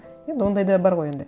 енді ондай да бар ғой енді